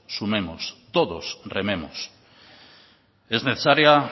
sumemos todos rememos es necesaria